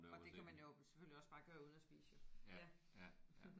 Og det kan man jo selvfølgelig også bare gøre uden at spise jo ja